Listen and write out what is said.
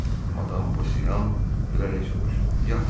Madam Bossian gülərək soruşdu.